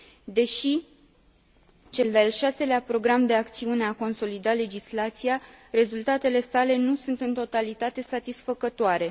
Deși cel de al 6 lea Program de acțiune a consolidat legislația, rezultatele sale nu sunt în totalitate satisfăcătoare.